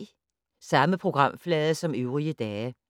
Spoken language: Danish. Samme programflade som øvrige dage